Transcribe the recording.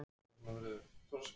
Róta í peningakassanum.